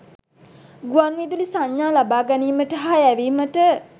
ගුවන් විදුලි සංඥා ලබ‍ා ගැනීමට හා යැවීමට